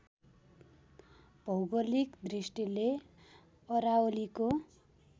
भौगोलिक दृष्टिले अरावलीको